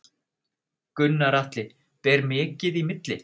Gunnar Atli: Ber mikið í milli?